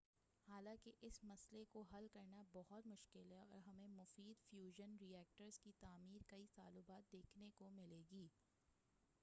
حالانکہ اس مسئلہ کو حل کرنا بہت مشکل ہے اور ہمیں مفید فیوژن ری ایکٹرز کی تعمیر کئی سالوں بعد دیکھنے کو ملے گی